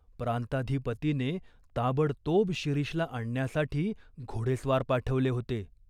प्रांताधिपतीने ताबडतोब शिरीषला आणण्यासाठी घोडेस्वार पाठवले होते.